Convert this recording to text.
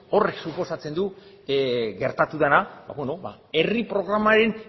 horrek suposatzen du gertatu dena herri programaren